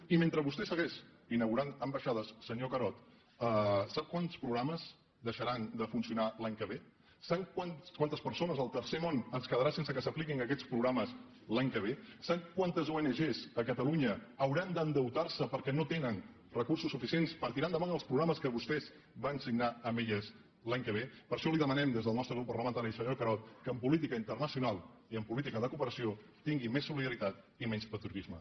i mentre vostè segueix inaugurant ambaixades senyor carod sap quants programes deixaran de funcionar l’any que ve sap quantes persones al tercer món es quedaran sense que s’apliquin aquests programes l’any que ve sap quantes ong a catalunya hauran d’endeutar se perquè no tenen recursos suficients per tirar endavant els programes que vostès van signar amb elles l’any que ve per això li demanem des del nostre grup parlamentari senyor carod que en política internacional i en política de cooperació tingui més solidaritat i menys patriotisme